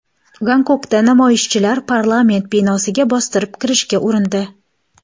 Gonkongda namoyishchilar parlament binosiga bostirib kirishga urindi .